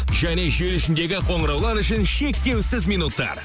және желі ішідегі қоңыраулар үшін шектеусіз минуттар